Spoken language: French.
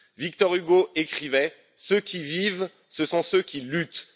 Victor Hugo écrivait Ceux qui vivent, ce sont ceux qui luttent